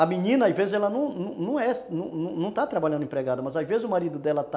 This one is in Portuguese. A menina, às vezes, ela não não está trabalhando empregada, mas às vezes o marido dela está